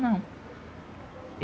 Não.